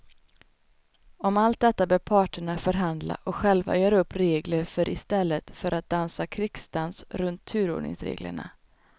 Om allt detta bör parterna förhandla och själva göra upp regler för i stället för att dansa krigsdans runt turordningsreglerna.